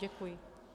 Děkuji.